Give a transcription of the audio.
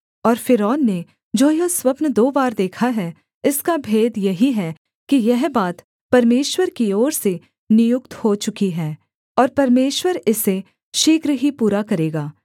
और फ़िरौन ने जो यह स्वप्न दो बार देखा है इसका भेद यही है कि यह बात परमेश्वर की ओर से नियुक्त हो चुकी है और परमेश्वर इसे शीघ्र ही पूरा करेगा